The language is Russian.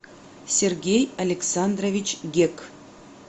сергей александрович гек